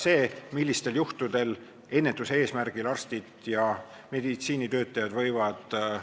Selle eelnõu puhul ma ütleks nii, nagu on öelnud emb-kumb klassikutest, kas Ivan Orav või Herbert Ving Kokaviidikalt: "Oh õudu!